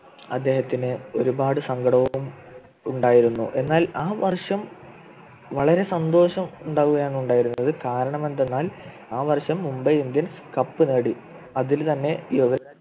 അദ്ദേഹത്തിന് ഒരുപാട് സങ്കടവും ഉണ്ടാനടനായിരുന്ന എന്നാൽ ആ വർഷം വളരെ സന്തോഷമുണ്ടാവുകയാണ് ഉണ്ടായിരുന്നത് കാരണം എന്തെന്നാൽ ആ വർഷം മുംബൈ indians cup നേടി അതിൽ തന്നെ യുവരാജ്